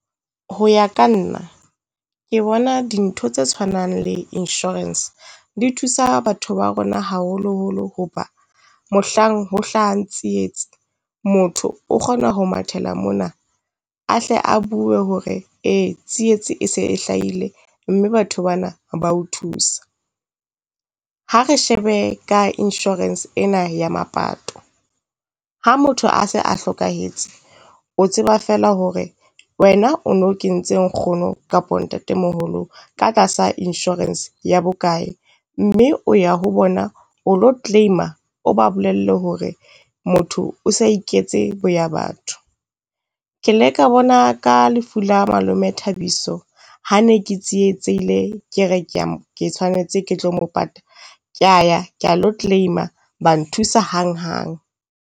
Ho ya ka nna ke bona dintho tse tshwanang le insurance di thusa batho ba rona haholoholo, hoba mohlang ho hlahang tsietsi, motho o kgona ho mathela mona. A hle a bue hore e tsietsi e se e hlahile mme batho bana ba o thuse. Ha re shebe ka insurance ena ya mapato, ha motho a se a hlokahetse, o tseba feela hore wena o no kentse nkgono kapo ntatemoholo ka tlasa insurance ya bokae. Mme o ya ho bona o lo claim-a o ba bolelle hore motho o sa iketse bo ya batho. Ke le ka bona ka lefu la malome Thabiso, ha ne ke tsietsehile ke re kea ke tshwanetse ke tlo mo pata, kea ya, ka lo claim-a, ba nthusa hanghang.